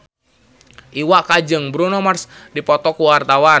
Iwa K jeung Bruno Mars keur dipoto ku wartawan